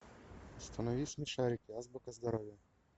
установи смешарики азбука здоровья